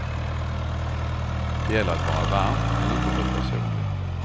Det gäller att vara varm men inte för personlig.